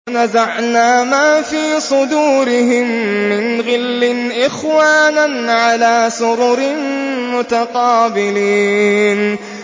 وَنَزَعْنَا مَا فِي صُدُورِهِم مِّنْ غِلٍّ إِخْوَانًا عَلَىٰ سُرُرٍ مُّتَقَابِلِينَ